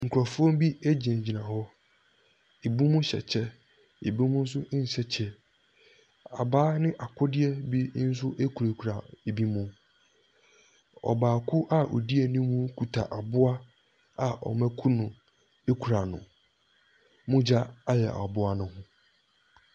Nkorofoɔ bi ɛgyina gyina hɔ, ɛbi mo hyɛ ɛkyɛ, ɛbi mo nso nhyɛ kyɛ. Abaa ne akodeɛ bi nso ɛkura kura ɛbi mo. Ɔbaako a ɔdi anim kuta aboa a ɔmo aku no ɛkura no, mogya ayɛ aboa no ho.